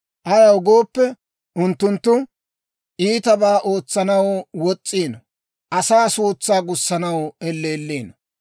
Ayaw gooppe, unttunttu iitabaa ootsanaw wos's'iino; asaa suutsaa gussanaw elleelliino.